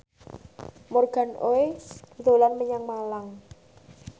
Morgan Oey dolan menyang Malang